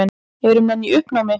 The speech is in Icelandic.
Eru menn í uppnámi?